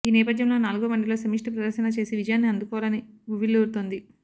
ఈ నేపథ్యంలో నాలుగో వన్డేలో సమష్టి ప్రదర్శన చేసి విజయాన్ని అందుకోవాలని ఉవ్విళ్లూరుతోంది